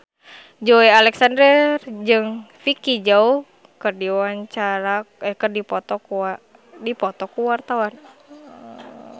Joey Alexander jeung Vicki Zao keur dipoto ku wartawan